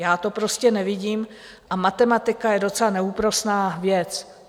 Já to prostě nevidím a matematika je docela neúprosná věc.